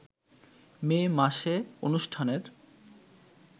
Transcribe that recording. মে মাসে অনুষ্ঠানের